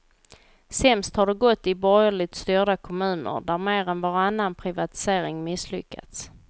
Sämst har det gått i borgerligt styrda kommuner, där mer än varannan privatisering misslyckats.